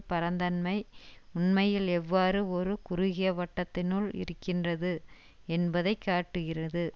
பரந்தன்மை உண்மையில் எவ்வாறு ஒரு குறுகிய வட்டத்தினுள் இருக்கின்றது என்பதை காட்டுகின்றது